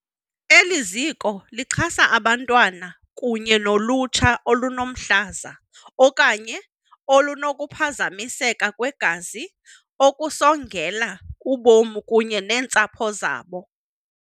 Eliziko lixhasa abantwana kunye nolutsha olunomhlaza okanye olunokuphazamiseka kwegazi okusongela ubomi kunye neentsapho zabo.